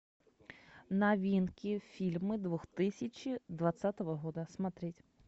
новинки фильмы две тысячи двадцатого года смотреть